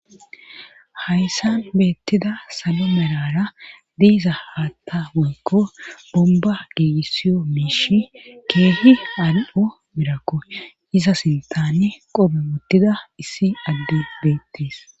Hayssan beettida salo melara diiza haatta moykko bomba geegissiyo miishi keehi al7o mirakko iza sintane qobe wottida issi adde beettees